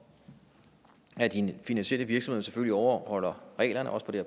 at de finansielle virksomheder selvfølgelig overholder reglerne også på det